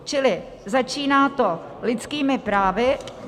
Čili začíná to lidskými právy.